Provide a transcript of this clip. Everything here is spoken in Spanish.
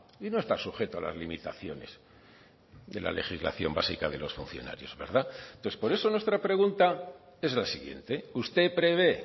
y no está sujeto a las limitaciones de la legislación básica de los funcionarios entonces por eso nuestra pregunta es la siguiente usted prevé